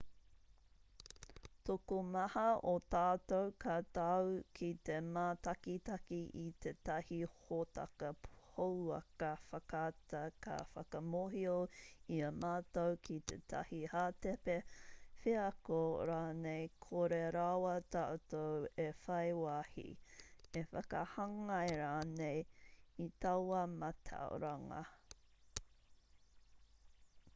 tokomaha o tātou ka tau ki te mātakitaki i tētahi hōtaka pouaka whakaata ka whakamōhio i a mātou ki tētahi hātepe wheako rānei kore rawa tātou e whai wāhi e whakahāngai rānei i taua mātauranga